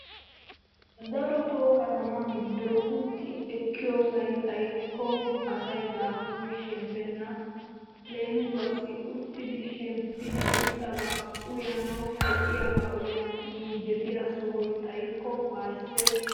Daroto kattama giddon utti ekkiyosay xaykko asaay dafuuri shemppena. Leemisuwaasi uttidi shemppidi irxxaba uyanawu, ho'iyaba uyanawu injjetiya sohoy xaayikko wayssees.